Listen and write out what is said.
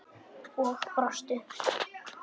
Og brostu.